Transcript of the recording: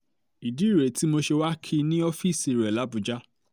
um ìdí rèé tí mo ṣe wàá kí i ní um ọ́fíìsì rẹ làbùjá